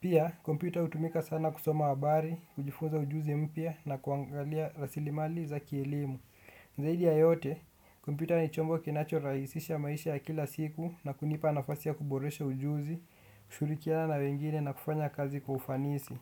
Pia, kompyuta hutumika sana kusoma habari, kujifunza ujuzi mpya na kuangalia rasilimali za kielimu. Zaidi ya yote, kumpyuta ni chombo kinacho raisisha maisha ya kila siku na kunipa nafasi ya kuboresha ujuzi, kushirikiana na wengine na kufanya kazi kwa kufanisi.